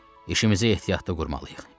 İşimizi ehtiyatlı qurmalıyıq.